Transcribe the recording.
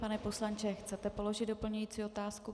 Pane poslanče, chcete položit doplňující otázku?